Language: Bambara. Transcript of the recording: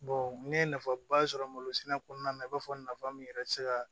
ne ye nafaba sɔrɔ malo sɛnɛ kɔnɔna na i b'a fɔ nafa min yɛrɛ ti se ka